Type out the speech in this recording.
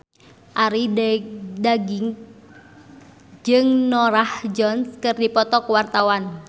Arie Daginks jeung Norah Jones keur dipoto ku wartawan